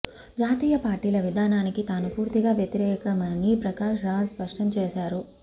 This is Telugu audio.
జాతీయ పార్టీల విధానానికి తాను పూర్తిగా వ్యతిరేకమని ప్రకాష్ రాజ్ స్పష్టం చేశారు